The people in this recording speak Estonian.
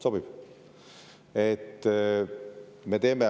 Sobib?